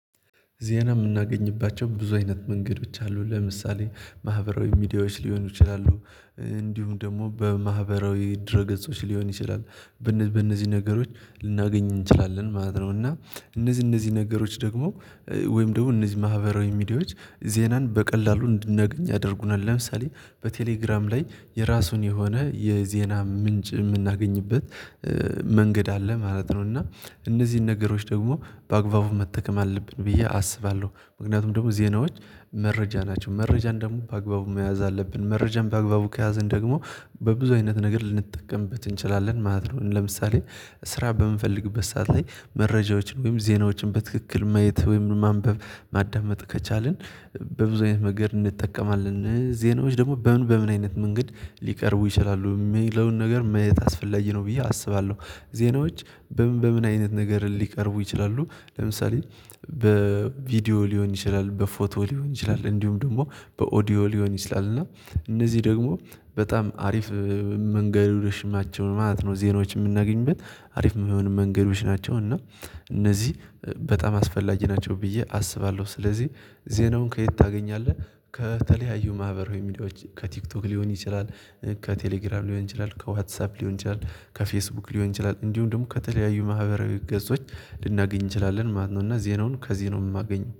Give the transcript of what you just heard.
ዜና የምናገኝባቸው ብዙ አይነት መንገድ ብቻ አለው። ለምሳሌ ማህበራዊ ሚዲያዎች ሊሆኑ ይችላሉ እንዲሁም ደግሞ በማህበራዊ ድረ ገጾች ሊሆን ይችላል። በእነዚህ ነገሮች ልናገኝ እንችላለን ማለት ነው እና እነዚህ እነዚህ ነገሮች ደግሞ ወይም ደግሞ እነዚህ ማህበራዊ ሚዲያዎች ዜናን በቀላሉ እንድናገኝ ያደርጉናል። ለምሳሌ በቴሌግራም ላይ የራሱን የሆነ የዜና ምንጭ የምናገኝበት መንገድ አለ ማለት ነው እና እነዚህን ነገሮች ደግሞ በአግባቡ መጠቀም አለብን ብዬ አስባለሁ ምክንያቱም ደግሞ ዜናዎች መረጃ ናቸው መረጃን ደግሞ በአግባቡ መያዝ አለብን መረጃን በአግባቡ ከያዘን ደግሞ በብዙ አይነት ነገር ልንጠቀምበት እንችላለን ማለት ነው ለምሳሌ ስራ በምንፈልግበት ሰዓት ላይ መረጃዎችን ወይም ዜናዎችን በትክክል ማየት ወይም ማንበብ ማዳመጥ ከቻልን በብዙ አይነት ነገር እንጠቀማለን ዜናዎች ደግሞ በምን በምን አይነት መንገድ ሊቀርቡ ይችላሉ የሚለውን ነገር ማየት አስፈላጊ ነው ብዬ አስባለሁ ዜናዎች በምን በምን አይነት ነገር ሊቀርቡ ይችላሉ ለምሳሌ በቪዲዮ ሊሆን ይችላል በፎቶ ሊሆን ይችላል እንዲሁም ደግሞ በኦዲዮ ሊሆን ይችላል እና እነዚህ ደግሞ በጣም አሪፍ መንገዶች ናቸው ማለት ነው። ዜናዎች የምናገኝበት አሪፍ የሚሆን መንገዶች ናቸው እና እነዚህ በጣም አስፈላጊ ናቸው ብዬ አስባለሁ። ስለዚህ ዜናውን ከየት ታገኛለህ ከተለያዩ ማህበራዊ ሚዲያዎች ከቲክቶክ ሊሆን ይችላል ከቴሌግራም ሊሆን ይችላል፣ ከዋትሳፕ ሊሆን ይችላል፣ ከፌስቡክ ሊሆን ይችላል፣ እንዲሁም ደግሞ ከተለያዩ ማህበረ ገጾች ልናገኝ እንችላለን ማለት ነው እና ዜናውን ከዚህ ነው የማገኝው